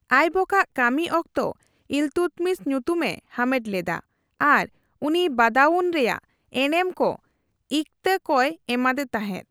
ᱟᱭᱵᱚᱠ ᱟᱜ ᱠᱟᱹᱢᱤ ᱚᱠᱛᱚ ᱤᱞᱛᱩᱫᱢᱤᱥ ᱧᱩᱛᱩᱢ ᱮ ᱦᱟᱢᱮᱴ ᱞᱮᱫᱟ ᱟᱨ ᱩᱱᱤ ᱵᱟᱫᱟᱩᱱ ᱨᱮᱭᱟᱜ ᱮᱱᱮᱢ ᱠᱚ ᱤᱠᱛᱟ ᱠᱚᱭ ᱮᱢᱟᱫᱮ ᱛᱟᱸᱦᱮᱫᱟ ᱾